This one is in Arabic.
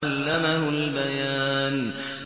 عَلَّمَهُ الْبَيَانَ